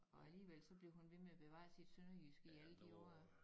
Og alligevel så bliver hun ved med at bevare sit sønderjyske i alle de år